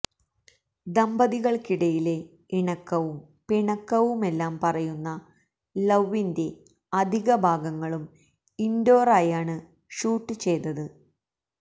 ദമ്പതികൾക്കിടയിലെ ഇണക്കവും പിണക്കവുമെല്ലാം പറയുന്ന ലൌവിന്റെ അധിക ഭാഗങ്ങളും ഇൻഡോർ ആയാണ് ഷൂട്ട് ചെയ്തത്